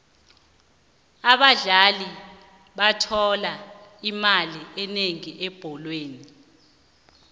abadlali bathola imali enengi ebholweni